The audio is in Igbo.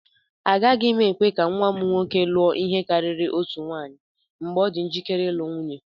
Agaghị m ekwe ka nwa m nwoke lụọ ihe karịrị otu nwunye mgbe ọ dị njikere ịlụ nwunye.